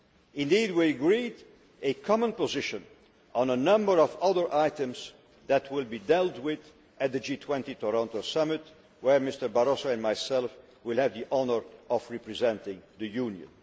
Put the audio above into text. Indeed, we agreed a common position on a number of other items that will be dealt with at the G20 Toronto Summit where Mr Barroso and I will have the honour of representing the Union.